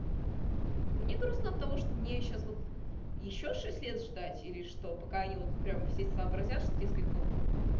мне грустно от того что мне сейчас вот ещё шесть лет ждать или что пока они вот прямо все сообразят что дескать ну